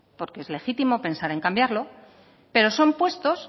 porque es legítimo pensar en cambiarlo pero son puestos